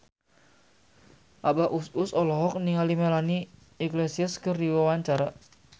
Abah Us Us olohok ningali Melanie Iglesias keur diwawancara